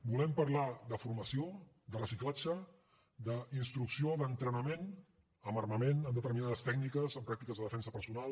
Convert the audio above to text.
volem parlar de formació de reciclatge d’instrucció d’entrenament amb armament en determinades tècniques en pràctiques de defensa personal